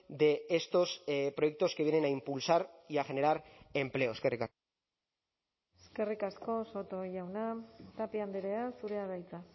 de estos proyectos que vienen a impulsar y a generar empleo eskerrik asko eskerrik asko soto jauna tapia andrea zurea da hitza